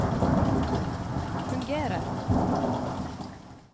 fungerer